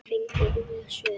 Fengum óljós svör.